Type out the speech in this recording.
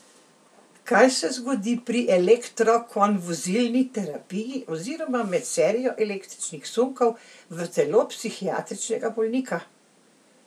Kaj se zgodi pri elektrokonvulzivni terapiji oziroma med serijo električnih sunkov v telo psihiatričnega bolnika?